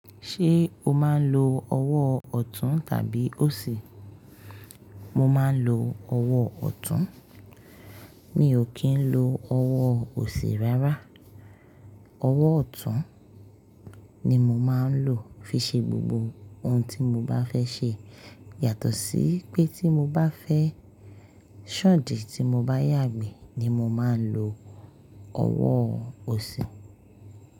Ṣé o máa ń lo ọwọ́ ọ̀tún tàbí òsì? Mo máa ń lo ọwọ́ ọ̀tún. Mi ò kí ń lo ọwọ́ òsì rárá. Ọwọ́ ọ̀tún ni mo máa ń lò fi ṣe gbogbo ohun tí mo bá fẹ́ ṣe. Yàtọ̀ sí pé tí mo bá fẹ́ ṣan idì tí mo bá yàgbẹ́ ni mo máa ń lo ọwọ́ òsì.